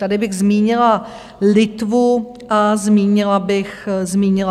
Tady bych zmínila Litvu a zmínila bych Slovensko.